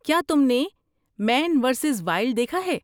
کیا تم نے مین ورسیز وائلڈ دیکھا ہے؟